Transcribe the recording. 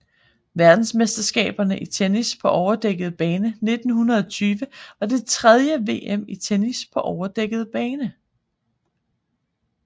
Verdensmesterskaberne i tennis på overdækket bane 1920 var det tredje VM i tennis på overdækket bane